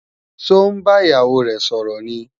Ṣó ń bá ìyàwó rẹ̀ sọ̀rọ̀ ni?